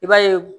I b'a ye